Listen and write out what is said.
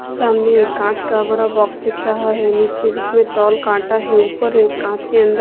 सामने एक कांच का बड़ा बॉक्स दिख रहा है नीचे जिसमें तौल कांटा है ऊपर एक कांच के अंदर--